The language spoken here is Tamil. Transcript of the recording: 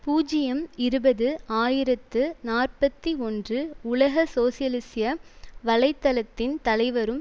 பூஜ்ஜியம் இருபது ஆயிரத்தி நாற்பத்தி ஒன்று உலக சோசியலிச வலை தளத்தின் தலைவரும்